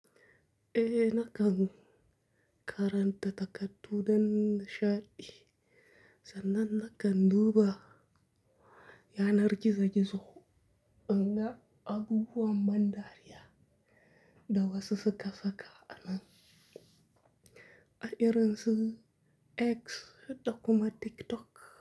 Eh nakan karanta takardu don nishaɗi, sannan nakan duba yanar gizo-gizo, inga abubuwan ban dariya da wasu suka saka a nan, a irin su X da kuma TikTok.